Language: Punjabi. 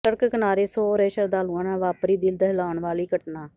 ਸੜਕ ਕਿਨਾਰੇ ਸੋ ਰਹੇ ਸ਼ਰਧਾਲੂਆਂ ਨਾਲ ਵਾਪਰੀ ਦਿਲ ਦਹਿਲਾਉਣ ਵਾਲੀ ਘਟਨਾ